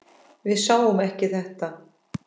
Við sáum ekki þetta!